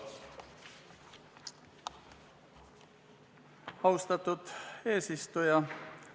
Austatud eesistuja!